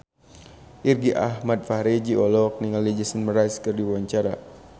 Irgi Ahmad Fahrezi olohok ningali Jason Mraz keur diwawancara